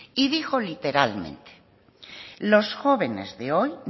y dijo literalmente los jóvenes de hoy